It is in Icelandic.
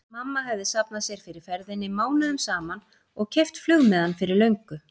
Mamma hefði safnað sér fyrir ferðinni mánuðum saman og keypt flugmiðann fyrir löngu.